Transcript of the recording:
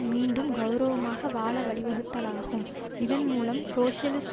மீண்டும் கெளரவமாக வாழ வழிவகுத்தலாகும் இதன்மூலம் சோசியலிஸ்ட்